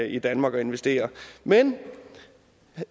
i danmark og investerer men